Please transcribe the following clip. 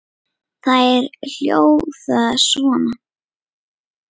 Þær hljóða svona